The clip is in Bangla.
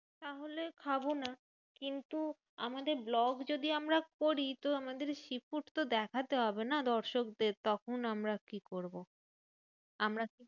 তাহলে খাবোনা। কিন্তু আমাদের vlog যদি আমরা করি তো আমাদের sea food তো দেখতে হবে না দর্শকদের, তখন আমরা কি করবো? আমরা